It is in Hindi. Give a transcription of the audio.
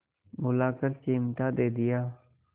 बुलाकर चिमटा दे दिया